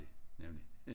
Nemlig